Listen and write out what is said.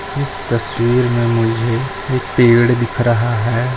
इस तस्वीर मे मुझे एक पेड़ दिख रहा है।